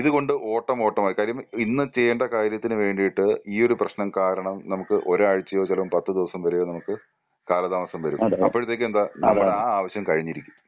ഇതുകൊണ്ട് ഓട്ടം ഓട്ടമായി കാര്യം ഇന്ന് ചെയ്യേണ്ട കാര്യത്തിന് വേണ്ടിയിട്ട് ഈയൊരു പ്രശ്നം കാരണം നമുക്ക് ഒരാഴ്ചയോ ചിലപ്പോ പത്ത് ദിവസം വരെയോ നമുക്ക് കാലതാമസം വരും. അപ്പോഴത്തേക്കും എന്താ നമ്മുടെ ആ ആവശ്യം കഴിഞ്ഞിരിക്കും.